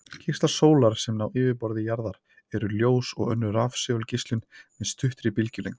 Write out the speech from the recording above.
Geislar sólar sem ná yfirborði jarðar eru ljós og önnur rafsegulgeislun með stuttri bylgjulengd.